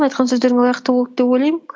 айтқан сөздеріңе лайықты болды деп ойлаймын